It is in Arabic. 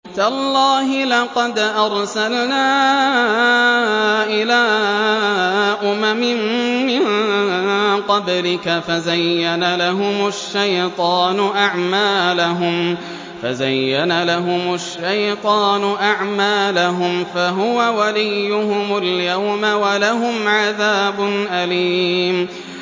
تَاللَّهِ لَقَدْ أَرْسَلْنَا إِلَىٰ أُمَمٍ مِّن قَبْلِكَ فَزَيَّنَ لَهُمُ الشَّيْطَانُ أَعْمَالَهُمْ فَهُوَ وَلِيُّهُمُ الْيَوْمَ وَلَهُمْ عَذَابٌ أَلِيمٌ